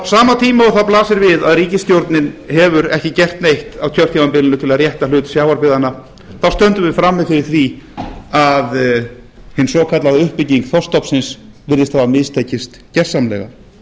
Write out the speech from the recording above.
á sama tíma og það blasir við að ríkisstjórnin hefur ekki gert neitt á kjörtímabilinu til að rétta hlut sjávarbyggðanna stöndum við frammi fyrir því að hin svokallaða uppbygging þorskstofnsins virðist hafa mistekist gjörsamlega og